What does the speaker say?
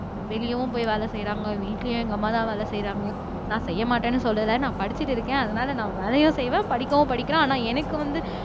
வெளியவும் போய் வேலை செய்யறாங்க வீட்டிலயும் எங்க அம்மாதான் வேலை செய்யறாங்க நான் செய்ய மாட்டேன்னு சொல்லல நான் படிச்சிட்டு இருக்கேன் அதனாலே நான் வேலையும் செய்வேன் படிக்கவும் படிக்கிறேன் ஆனா எனக்கு வந்து